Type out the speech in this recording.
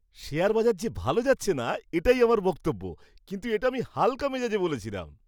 শেয়ারবাজার যে ভালো যাচ্ছে না, এটাই আমার বক্তব্য। কিন্তু এটা আমি হালকা মেজাজে বলেছিলাম।